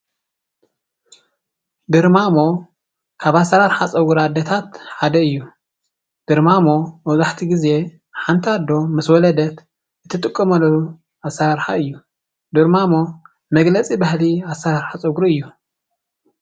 ድርማሞ ካብ ኣሰራርሓ ፀጉሪ ኣዴታት ሓደ እዩ፡፡ ድርማሞ መብዛሕትኡ ግዜ ሓንቲ ኣዶ ምስ ወለደት እትጥቀመሉ ኣሰራርሓ እዩ፡፡ ድርማሞ መግለፂ ባህሊ ኣሰራርሓ ፀጉሪ እዩ፡፡